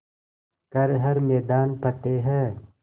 कर हर मैदान फ़तेह